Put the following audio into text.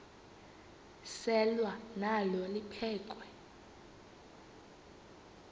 selwa nalo liphekhwe